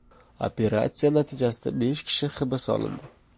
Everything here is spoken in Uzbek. Operatsiya natijasida besh kishi hibs olindi.